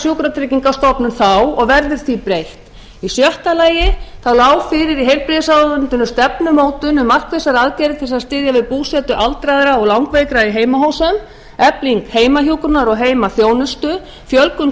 s sjúkratryggingastofnun þá og verður því breytt í sjötta lagi lá fyrir í heilbrigðisráðuneytinu stefnumótun um markvissar aðgerðir til að styðja við búsetu aldraðra og langveikra í heimahúsum efling heimahjúkrunar og heimaþjónustu fjölgun